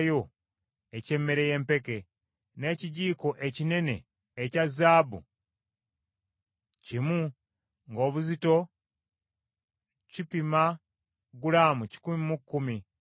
n’ekijiiko ekinene ekya zaabu kimu ng’obuzito kipima gulaamu kikumi mu kkumi, nga kijjudde ebyakaloosa;